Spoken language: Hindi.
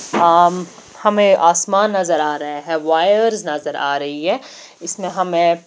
अम हमें आसमान नजर आ रहे हैं वायर्स नजर आ रही है इसमें हमें--